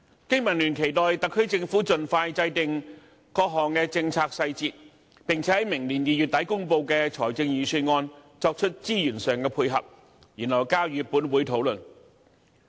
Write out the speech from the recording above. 經民聯期望特區政府盡快制訂各項政策細節，並且在明年2月底公布的財政預算案作出資源上的配合，然後交予本會討論。